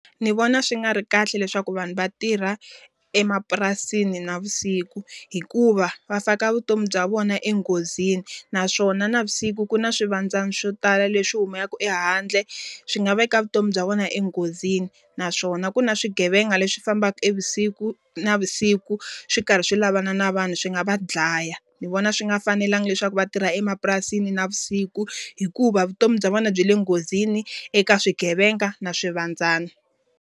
Ndzi vona swi nga ri kahle leswaku vanhu va tirha emapurasini navusiku. Hikuva va faka vutomi bya vona enghozini naswona navusiku ku na swivandzani swo tala leswi humelaka ehandle swi nga veka vutomi bya vona enghozini. Naswona ku na swigevenga leswi fambaka navusiku swi karhi swi lavana na vanhu swi nga va dlaya. Ndzi vona swi nga fanelanga leswaku va tirhi emapurasini navusiku, hikuva vutomi bya vona byi le nghozini eka swigevenga na swivandzani.